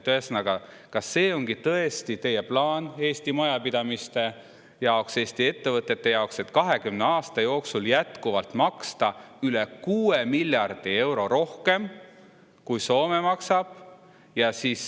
Ühesõnaga, kas see ongi tõesti teie plaan Eesti majapidamiste jaoks, Eesti ettevõtete jaoks, et 20 aasta jooksul jätkuvalt maksta üle 6 miljardi euro rohkem, kui Soome maksab?